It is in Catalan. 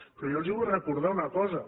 però jo els vull recordar una cosa